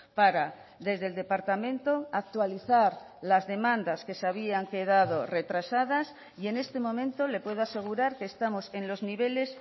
para desde el departamento actualizar las demandas que se habían quedado retrasadas y en este momento le puedo asegurar que estamos en los niveles